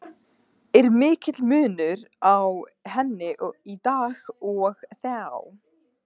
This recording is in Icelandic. Er mikill munur á henni í dag og þá?